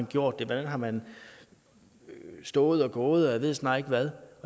gjort det hvordan har man stået og gået og jeg ved snart ikke hvad